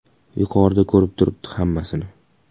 Yuqorida ko‘rib turibdi hammasini.